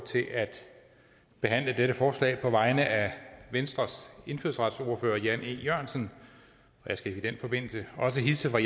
til at behandle dette forslag på vegne af venstres indfødsretsordfører jan e jørgensen og jeg skal i den forbindelse også hilse fra